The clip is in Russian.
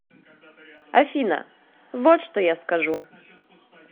афина вот что я скажу